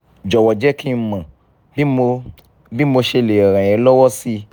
jọ̀wọ́ jẹ́ kí n mọ̀ bí mọ̀ bí mo ṣe lè ràn ẹ́ lọwọ síi